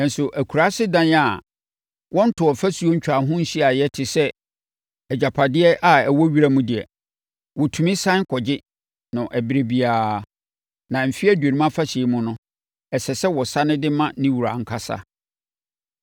Nanso akuraase dan a wɔntoo ɔfasuo ntwaa ho nhyiaeɛ te sɛ agyapadeɛ a ɛwɔ wiram deɛ, wɔtumi sane kɔgye no ɛberɛ biara, na Mfeɛ Aduonum Afahyɛ mu no, ɛsɛ sɛ wɔsane de ma ne wura ankasa.